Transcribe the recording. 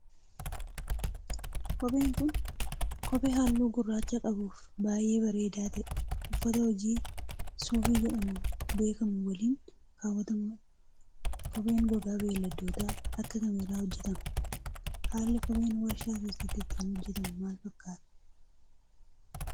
Kopheen kun, kophee haalluu gurraacha qabuu fi baay'ee bareedaa ta'e ,uffata hojii suufii jedhamuun beekamu waliin kaawwatamuu dha. Kopheen gogaa beeyladoota akka kamii irraa hojjatama. Haalli kopheen warshaa keessatti ittiin hojjatamu maal fakkaata?